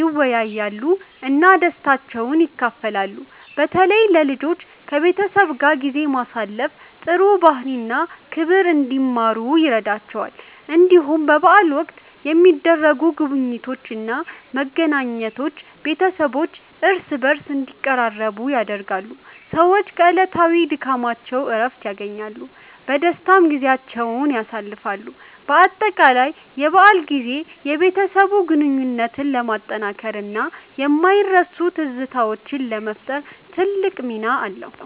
ይወያያሉ እና ደስታቸውን ይካፈላሉ። በተለይ ለልጆች ከቤተሰብ ጋር ጊዜ ማሳለፍ ጥሩ ባህሪ እና ክብር እንዲማሩ ይረዳቸዋል። እንዲሁም በበዓል ወቅት የሚደረጉ ጉብኝቶች እና መገናኘቶች ቤተሰቦች እርስ በርስ እንዲቀራረቡ ያደርጋሉ። ሰዎች ከዕለታዊ ድካማቸው እረፍት ያገኛሉ፣ በደስታም ጊዜያቸውን ያሳልፋሉ። በአጠቃላይ የበዓል ጊዜ የቤተሰብ ግንኙነትን ለማጠናከር እና የማይረሱ ትዝታዎችን ለመፍጠር ትልቅ ሚና አለው።